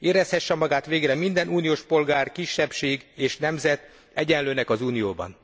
Érezhesse magát végre minden uniós polgár, kisebbség, és nemzet egyenlőnek az Unióban.